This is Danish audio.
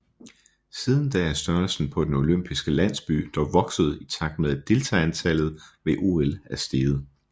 Siden da er størrelsen på den olympiske landsby dog vokset i takt med at deltagerantallet ved OL er steget